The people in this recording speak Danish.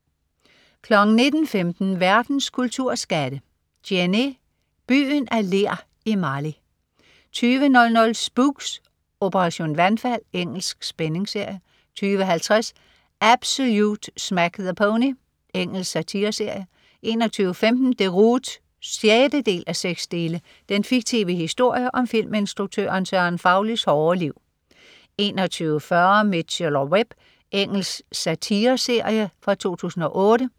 19.15 Verdens kulturskatte. "Djenné. Byen af ler i Mali" 20.00 Spooks: Operation vandfald. Engelsk spændingsserie 20.50 Absolute Smack the Pony. Engelsk satireserie 21.15 Deroute 6:6. Den fiktive historie om filminstruktøren Søren Faulis hårde liv 21.40 Mitchell & Webb. Engelsk satireserie fra 2008